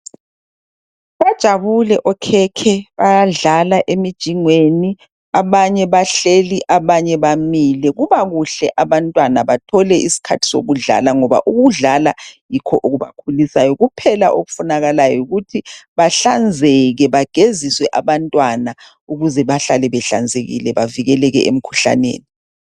Bajabule okhekhe bayadlala emijingweni abanye bahleli abanye bamile kubakuhle abantwana bathole isikhathi sokudlala ngoba ukudlala yikho okubakhulisayo kuphela okufunakalayo yikuthi bahlanzeke bageziswe abantwana ukuze bahlale behlanzekile bavikele emkhuhlaneni